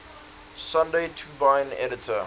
sunday tribune editor